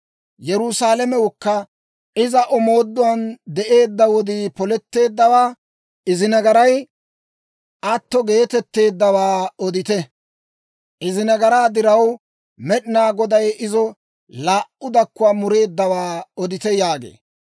Yerusaalamewukka, iza omooduwaan de'eedda wodii poletteeddawaa, Izi nagaray atto geetetteeddawaa odite; Izi nagaraa diraw, Med'inaa Goday izo laa"u dakkuwaa mureeddawaa odite» yaagee.